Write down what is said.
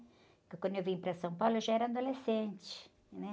Porque quando eu vim para São Paulo, eu já era adolescente, né?